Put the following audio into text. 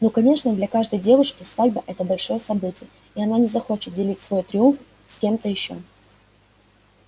ну конечно для каждой девушки свадьба-это большое событие и она не захочет делить свой триумф с кем-то ещё